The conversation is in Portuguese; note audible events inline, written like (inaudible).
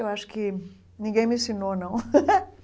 Eu Acho que ninguém me ensinou, não. (laughs)